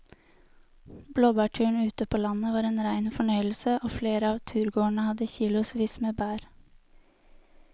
Blåbærturen ute på landet var en rein fornøyelse og flere av turgåerene hadde kilosvis med bær.